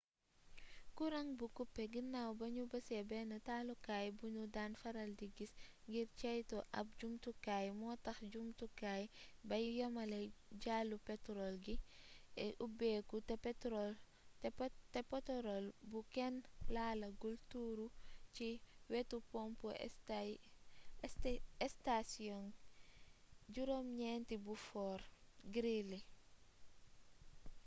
kurang bu kupe gannaaw ba nu bësee benn taalukaay bu nu daan faral di bës ngir ceytu ab jumtukaay moo tax jumtukaay bay yamale jalluu petorol gi ubbeeku te petorol bu kenn laalagul tuuru ci wetu pompu estasiyong 9 bu fort greely